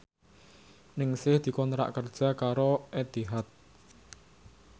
Ningsih dikontrak kerja karo Etihad